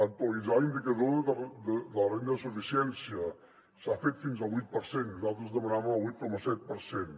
actualitzar l’indicador de la renda de suficiència s’ha fet fins al vuit per cent nosaltres demanàvem el vuit coma set per cent